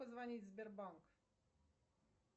позвонить в сбербанк